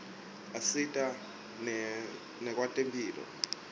asita nakwetemphilo